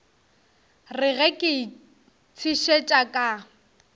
re ge ke itshetšha ka